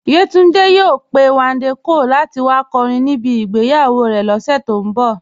Yétúndé yòò pẹ̀ Wándé Cóàl láti wà kọ́rìn níbí ìgbéyàwó rè lóṣù tó n bọ̀.